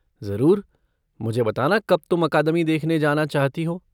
ज़रूर, मुझे बताना कब तुम अकादमी देखने जाना चाहती हो।